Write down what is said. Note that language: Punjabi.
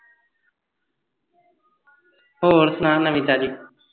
ਹੋਰ ਸੁਣਾ ਨਵੀਂ ਤਾਜੀ